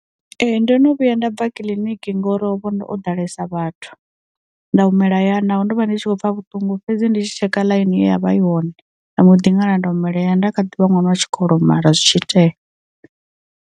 Ee ndo no vhuya nda bva kiḽiniki ngori hovho ndo ho ḓalesa vhathu, nda humela ya naho ndo vha ndi tshi khou pfa vhuṱungu fhedzi ndi tshi tsheka ḽaini ye ya vha i hone, nda mbo ḓi ṅala nda humela hayani nda kha ḓivha ṅwana wa tshikolo mara zwi tshi tea.